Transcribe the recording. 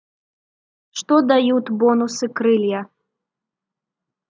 что дают бонусы крылья